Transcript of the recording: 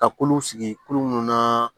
Ka kulu sigi kulu munnu na